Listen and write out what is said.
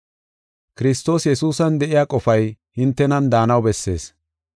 Kiristoos Yesuusan de7iya qofay hintenan daanaw bessees.